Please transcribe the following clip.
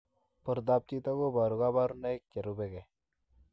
Portoop chitoo kobaruu kabarunaik cherubei ak